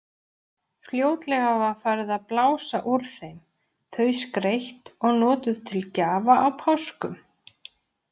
Fljótlega var farið að blása úr þeim, þau skreytt og notuð til gjafa á páskum.